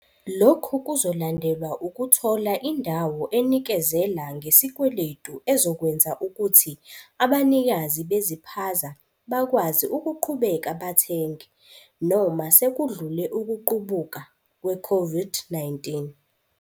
"Lokhu kuzolandelwa ukuthola indawo enikezela ngesikweletu ezokwenza ukuthi abanikazi beziphaza bakwazi ukuqhubeka bathenge, noma sekudlule ukuqubuka kwe-COVID-19."